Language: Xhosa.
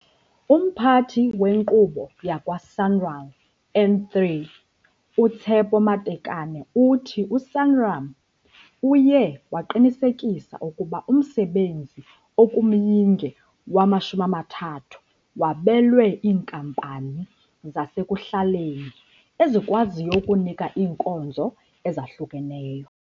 UMphathi weNkqubo yakwaSanral N3 uTshepo Matekane uthi uSanral uye waqinisekisa ukuba umsebenzi okumyinge wama-30 wabelwe iinkampani zasekuhlaleni ezikwaziyo ukunika iinkonzo ezahlukeneyo.